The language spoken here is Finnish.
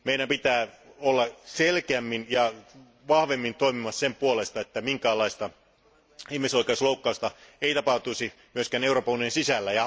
Niinpä meidän pitää olla selkeämmin ja vahvemmin toimimassa sen puolesta, että minkäänlaista ihmisoikeusloukkausta ei tapahtuisi myöskään Euroopan unionin sisällä.